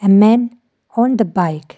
a men on the bike.